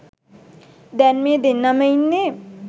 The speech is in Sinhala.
දැන් මේ දෙන්නම ඉන්නේ